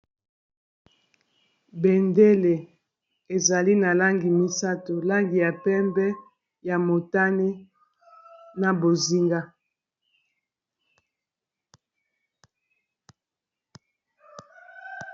bendele ezali na langi misato langi ya pembe ya motane na bozinga